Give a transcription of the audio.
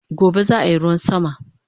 Gobe zaa yi ruwan sama